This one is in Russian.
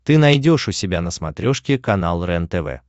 ты найдешь у себя на смотрешке канал рентв